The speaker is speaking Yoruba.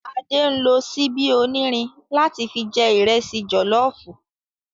Ade nló ṣìbi ónírìn látì fi jè ìrẹsì jòlòfú